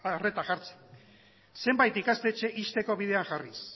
arreta jartzen zenbait ikastetxe ixteko bidean jarriz